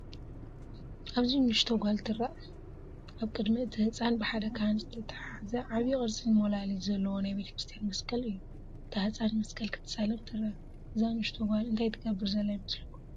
ኣብዚ ንእሽቶ ጓል ትርአ። ኣብ ቅድሚ እቲ ህጻን ብሓደ ካህን ዝተታሕዘ ዓቢ ቅርጺ ሞላሊት ዘለዎ ናይ ቤተክርስትያን መስቀል እዩ። እታ ህጻን መስቀል ክትሳለም ትርአ። እዛ ንእሽቶ ጓል እንታይ ትገብር ዘላ ይመስለኩም?